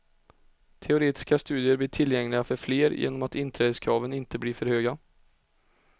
Teoretiska studier blir tillgängliga för fler genom att inträdeskraven inte blir för höga.